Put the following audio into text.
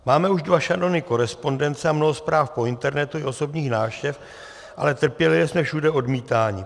Máme už dva šanony korespondence a mnoho zpráv po internetu i osobních návštěv, ale trpělivě jsme všude odmítáni.